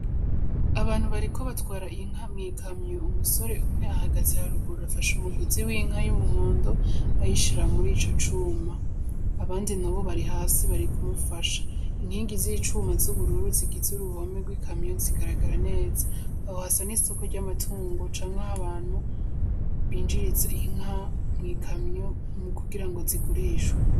Abantu bariko batwara inka mw'ikamyo, Umusore umwe ahagaze haruguru afashe umugozi winka y'umuhondo ayishira muri ico cuma abandi nabo bari hasi kumufasha, Inkingi zi cuma z'ubururu zigize uruhome rw'ikamyo zigaragara neza, Aho hasa n'isoko rya matungo canke aho abantu binjiriza inka mw'ikamyo mu kugirango zigurishwe.